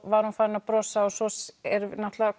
var hún farin að brosa og svo er náttúrulega